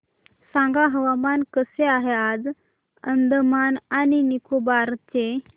सांगा हवामान कसे आहे आज अंदमान आणि निकोबार चे